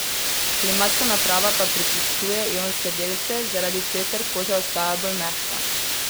Klimatska naprava pa prečiščuje ionske delce, zaradi česar koža ostaja bolj mehka.